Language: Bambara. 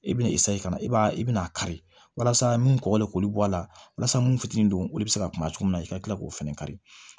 I bɛna ka na i b'a i bɛna kari walasa min kɔkɔle k'olu bɔ a la walasa munnu fitinin don olu bɛ se ka kuma cogo min na i ka kila k'o fɛnɛ kari